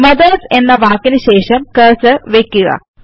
MOTHERSഎന്ന വാക്കിന് ശേഷം കെർസെർ വയ്ക്കുക